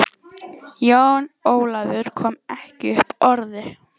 Jón Ólafur kom ekki upp orði.